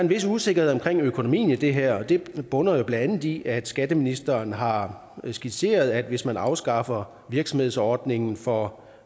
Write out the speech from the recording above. vis usikkerhed omkring økonomien i det her og det bunder jo blandt andet i at skatteministeren har skitseret at hvis man afskaffer virksomhedsordningen for